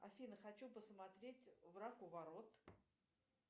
афина хочу посмотреть враг у ворот